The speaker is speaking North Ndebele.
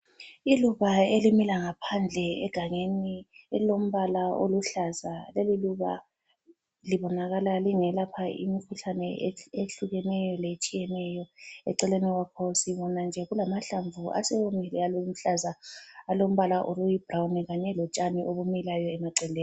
Iluba elimila ngaphandle egangeni elilombala oluhlaza. Leliluba libonakala lingelapha imikhuhlane ehlukeneyo letshiyeneyo. Eceleni lapho sibona nje kulamahlamvu asewomile aluhlaza alombala oyibrawuni kanye lotshani obumilayo emaceleni.